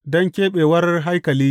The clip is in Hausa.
Don keɓewar haikali.